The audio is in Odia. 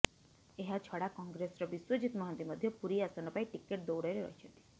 ଏହାଛଡା କଂଗ୍ରେସର ବିଶ୍ୱଜିତ ମହାନ୍ତି ମଧ୍ୟ ପୁରୀ ଆସନ ପାଇଁ ଟିକେଟ ଦୌଡରେ ରହିଛନ୍ତି